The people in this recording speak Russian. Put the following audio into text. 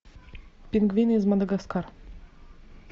пингвин из мадагаскар